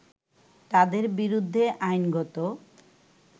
তাদের বিরুদ্ধে আইনগত